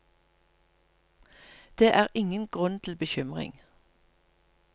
Det er ingen grunn til bekymring.